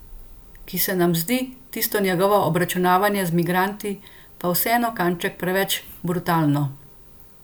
Ki se nam zdi tisto njegovo obračunavanje z migranti pa vseeno kanček preveč brutalno?